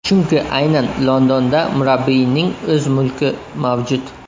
Chunki aynan Londonda murabbiyning o‘z mulki mavjud.